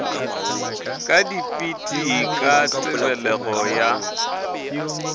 ka dipit ka tebelego ya